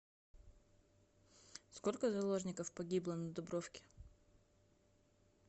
сколько заложников погибло на дубровке